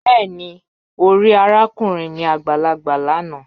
Bẹẹni, o ri arakunrin mi agbalagba lana